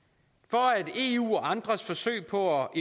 er for